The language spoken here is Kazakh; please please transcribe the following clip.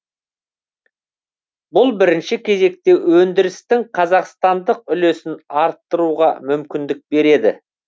бұл бірінші кезекте өндірістің қазақстандық үлесін арттыруға мүмкіндік береді